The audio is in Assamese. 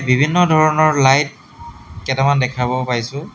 বিভিন্ন ধৰণৰ লাইট কেইটামান দেখাব পাইছোঁ।